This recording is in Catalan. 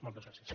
moltes gràcies